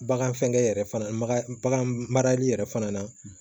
Bagan fɛngɛ yɛrɛ fana bagan marali yɛrɛ fana na